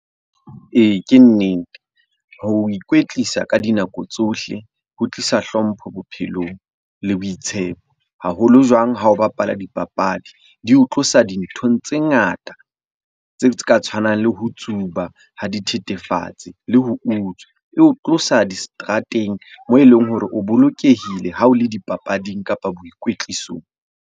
Ee, ke nnete. Ho ikwetlisa ka dinako tsohle ho tlisa hlompho bophelong le boitshepo. Haholo jwang ha o bapala dipapadi, di o tlosa dinthong tse ngata. Tse ka tshwanang le ho tsuba ha dithethefatsi le ho utswa. Eo tlosa diseterateng moo e leng hore o bolokehile ha o le dipapading, kapa boikwetlisong.